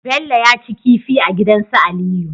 Bello yaci kifi a gidan su aliyu